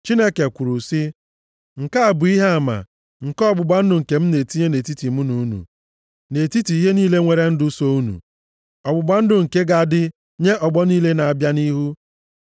Chineke kwuru sị, “Nke a bụ ihe ama nke ọgbụgba ndụ nke m na-etinye nʼetiti mụ na unu, na nʼetiti ihe niile nwere ndụ so unu, ọgbụgba ndụ nke ga-adị nye ọgbọ niile na-abịa nʼihu.